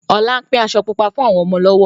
Ọlá ń pín aṣọ Pupa fún àwọn ọmọ lọ́wọ́